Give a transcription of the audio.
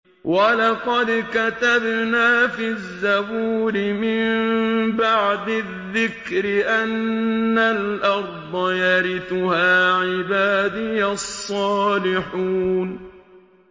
وَلَقَدْ كَتَبْنَا فِي الزَّبُورِ مِن بَعْدِ الذِّكْرِ أَنَّ الْأَرْضَ يَرِثُهَا عِبَادِيَ الصَّالِحُونَ